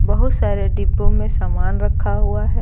बहुत सारे डिब्बों में सामान रखा हुआ है।